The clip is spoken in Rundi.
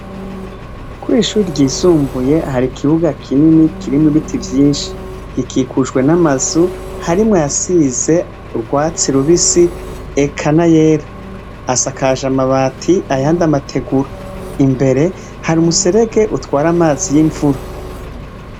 Kw'ishure ryisumbuye hari ikibuga kinini kirimwo ibiti vyinshi. Gikikujwe n'amazu, harimwo ayasize urwatsi rubisi eka n'ayera. Asakaje amabati ayandi amategura. Imbere hari umuserege utwara amazi y'imvura.